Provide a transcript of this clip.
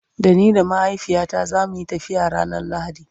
Da ni da mahaifiyata zamuyi tafiya ranar lahadi